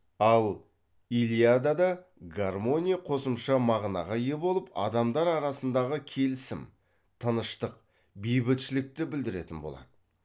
ал илиадада гармония қосымша мағынаға ие болып адамдар арасындағы келісім тыныштык бейбітшілікті білдіретін болады